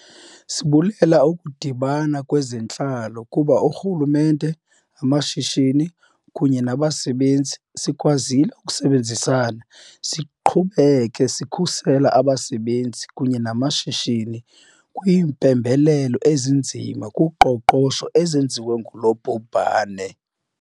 Sibulela ukudibana kweze ntlalo kuba urhulumente, namashishini kunye nabasebenzi, sikwazile ukusebenzisana siqhubeke sikhusela abasebenzi kunye namashishini kwiimpembelelo ezinzima kuqoqosho ezenziwe ngulo bhubhane.